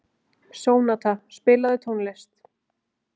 Sónata, spilaðu tónlist.